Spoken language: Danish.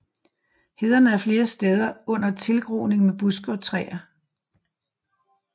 Hederne er flere steder under tilgroning med buske og træer